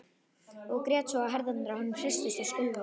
Og grét svo að herðarnar á honum hristust og skulfu.